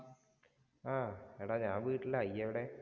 ആഹ് എടാ ഞാന്‍ വീട്ടിലാ. ഇയ്യ് എവിടെ?